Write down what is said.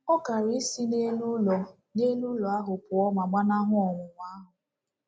Ọ kaara isi n’elu ụlọ n’elu ụlọ ahụ pụọ ma gbanahụ ọnwụnwa ahụ.